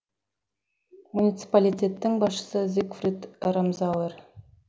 муниципалитеттің басшысы зигфрид рамзауэр